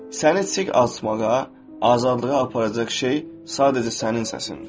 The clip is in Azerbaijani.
Səni çiçək açmağa, azadlığa aparacaq şey sadəcə sənin səsindir.